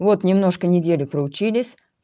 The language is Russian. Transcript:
вот немножко неделю проучились